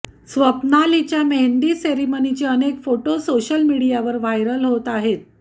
स्वप्नालीच्या मेहंदी सेरेमनीचे अनेक फोटो सोशल मीडियावर व्हायरल होत आहेत